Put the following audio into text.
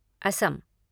Assam